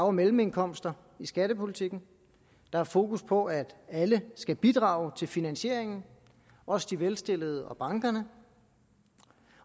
og mellemindkomster i skattepolitikken der er fokus på at alle skal bidrage til finansieringen også de velstillede og bankerne